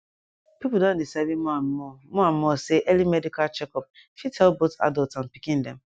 people don dey sabi more and more more and more say early medical check up fit help both adults and pikin dem